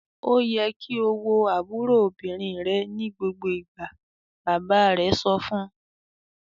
"Ó yẹ kí o wo àbúrò obìnrin rẹ ní gbogbo ìgbà!" Bàbá rẹ̀ sọ fún un.